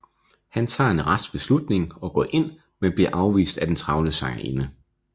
Han tager en rask beslutning og går ind men bliver afvist af den travle sangerinde